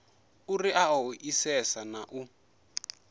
uri a ṱoḓisise na u